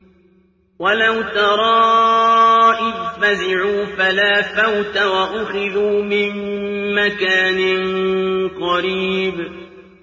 وَلَوْ تَرَىٰ إِذْ فَزِعُوا فَلَا فَوْتَ وَأُخِذُوا مِن مَّكَانٍ قَرِيبٍ